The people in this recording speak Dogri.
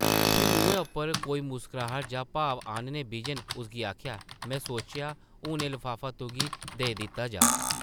फ्ही मुहैं उप्पर कोई मुस्कराह्ट जां भाव आह्न्ने बिजन उसगी आखेआ, में सोचेआ, हून एह् लफाफा तुगी देई दित्ता जाऽ ।